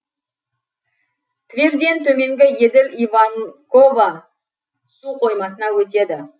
тверден төмен еділ иванково су қоймасына өтеді